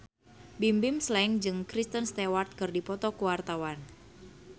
Bimbim Slank jeung Kristen Stewart keur dipoto ku wartawan